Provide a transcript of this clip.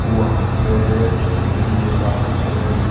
वहां के समझियो नेपालो सब में --